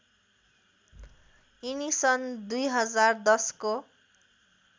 यिनी सन् २०१० को